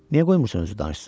Niyə qoymursan özü danışsın?